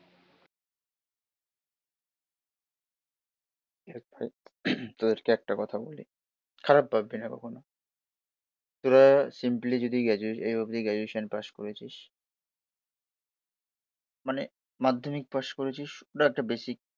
দেখ ভাই তোদেরকে একটা কথা বলি খারাপ ভাববিনা কখনো, তোরা সিম্পলি যদি গ্রাজুয়েশন এই অবধি গ্রাজুয়েশন পাশ করেছিস, মানে মাধ্যমিক পাশ করেছিস। ধর একটা বেসিক